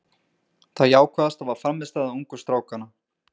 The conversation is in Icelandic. Það jákvæðasta var frammistaða ungu strákanna.